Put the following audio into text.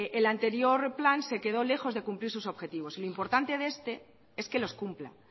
el anterior plan se quedó lejos de cumplir sus objetivos lo importante de este es que los cumpla